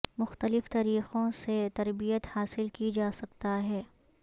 مختلف طریقوں سے تربیت حاصل کی جا سکتا ہے